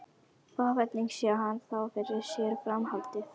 Og hvernig sé hann þá fyrir sér framhaldið?